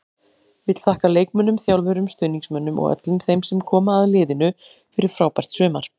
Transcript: Vill þakka leikmönnum, þjálfurum, stuðningsmönnum og öllum þeim sem koma að liðinu fyrir frábært sumar.